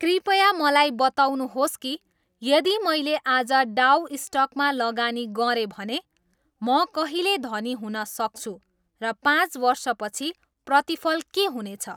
कृपया मलाई बताउनुहोस् कि यदि मैले आज डाउ स्टकमा लगानी गरेँ भने म कहिले धनी हुन सक्छु र पाँच वर्षपछि प्रतिफल के हुनेछ